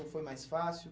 Ou foi mais fácil?